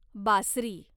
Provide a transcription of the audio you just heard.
बासरी